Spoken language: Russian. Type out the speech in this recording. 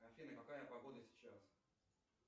афина какая погода сейчас